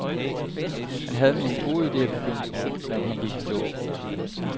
Han havde nogle gode idéer i begyndelsen, men han gik i stå.